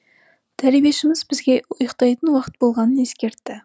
тәрбиешіміз бізге ұйықтайтын уақыт болғанын ескертті